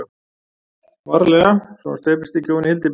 VARLEGA svo hann steypist ekki ofan í hyldýpið.